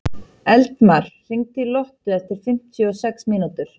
Eldmar, hringdu í Lottu eftir fimmtíu og sex mínútur.